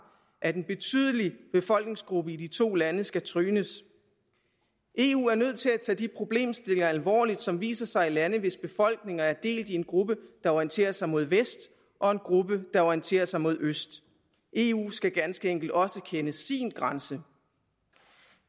at en betydelig befolkningsgruppe i de to lande skal trynes eu er nødt til at tage de problemstillinger alvorligt som viser sig i lande hvis befolkninger er delt i en gruppe der orienterer sig mod vest og en gruppe der orienterer sig mod øst eu skal ganske enkelt også kende sin grænse